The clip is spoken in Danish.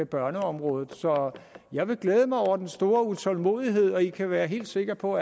børneområdet så jeg vil glæde mig over den store utålmodighed og alle her kan være helt sikre på